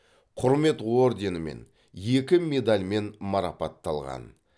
құрмет орденімен екі медальмен марапатталған